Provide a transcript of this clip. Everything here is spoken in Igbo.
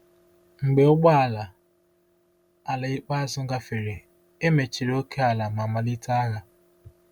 Mgbe ụgbọ ala ala ikpeazụ gafere, e mechiri ókèala ma malite agha.